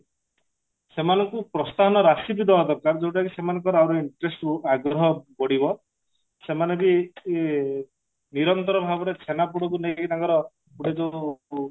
ସେମାନଙ୍କୁ ପ୍ରସ୍ଥାନ ରାସୀ ବି ଦବା ଦରକାର ଯଉଟା କି ସେମାନଙ୍କର ଆହୁରି interest ଆଗ୍ରହ ବଢିବ ସେମାନେ ବି ନିରନ୍ତର ଭାବରେ ଛେନାପୋଡକୁ ନେଇକି ତାଙ୍କର ଗୋଟେ ଯଉ